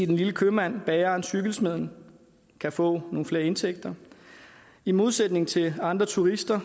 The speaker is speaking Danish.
den lille købmand bageren og cykelsmeden kan få nogle flere indtægter i modsætning til andre turister